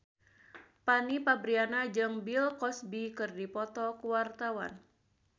Fanny Fabriana jeung Bill Cosby keur dipoto ku wartawan